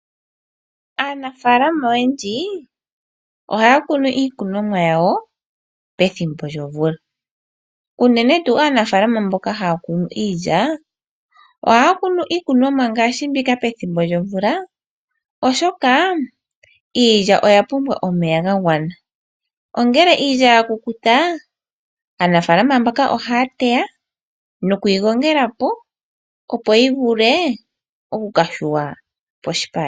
Aanafaalama oyendji ohaya kunu iikonomwa yawo pethimbo lyomvula, uunene tuu aanafalama mboka haya kunu iilya ohaya kunu iikunomwa ngaashi mbika pethimbo lyomvula, oshoka iilya oya pumbwa omeya gagwana. Ongele iilya ya kukuta aanafaalama mboka ohaya teya nokuyi gongela po, opo yi vule okuka shuwa poshipale.